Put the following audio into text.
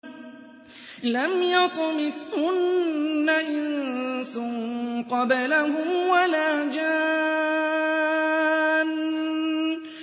لَمْ يَطْمِثْهُنَّ إِنسٌ قَبْلَهُمْ وَلَا جَانٌّ